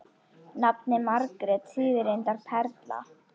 Nafnið Margrét þýðir reyndar perla.